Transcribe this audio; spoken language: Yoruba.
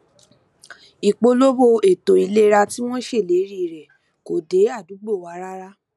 ìpolówó eto ìlera tí wọn ṣe ìlérí rẹ kò dé àdúgbò wa rárá